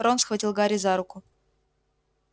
рон схватил гарри за руку